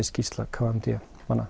skýrsla k m d